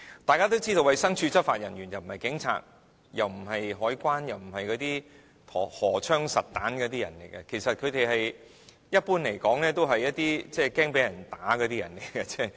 眾所周知，衞生署執法人員既不是警察，也不是海關，更不是荷槍實彈的人員，一般來說，他們其實都是一些害怕被人毆打的人。